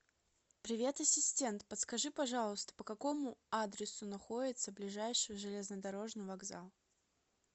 привет ассистент подскажи пожалуйста по какому адресу находится ближайший железнодорожный вокзал